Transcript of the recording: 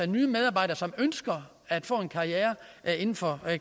nye medarbejdere som ønsker at få en karriere inden for